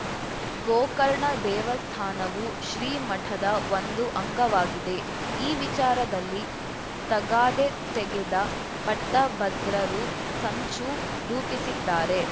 ಗೋಕರ್ಣ ದೇವಸ್ಥಾನವು ಶ್ರೀ ಮಠದ ಒಂದು ಅಂಗವಾಗಿದೆ ಈ ವಿಚಾರದಲ್ಲಿ ತಗಾದೆ ತೆಗೆದ ಪಟ್ಟಬದ್ರರು ಸಂಚು ರೂಪಿಸಿದ್ದಾರೆ